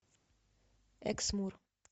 эксмур